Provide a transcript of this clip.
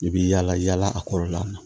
I bi yala yala a kɔrɔla la